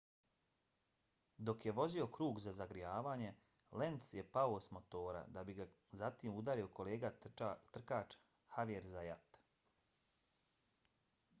dok je vozio krug za zagrijavanje lenz je pao s motora da bi ga zatim udario kolega trkač xavier zayat